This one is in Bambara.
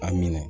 A minɛ